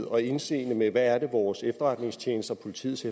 og indseende med hvad det er vores efterretningstjenester politiets